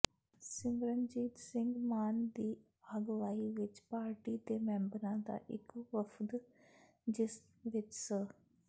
ਸਿਮਰਨਜੀਤ ਸਿੰਘ ਮਾਨ ਦੀ ਅਗਵਾਈ ਵਿਚ ਪਾਰਟੀ ਦੇ ਮੈਬਰਾਂ ਦਾ ਇਕ ਵਫ਼ਦ ਜਿਸ ਵਿਚ ਸ